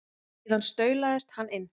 Síðan staulast hann inn.